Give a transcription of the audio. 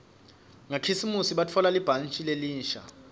ngakhisimusi ngatfola libhantji lelisha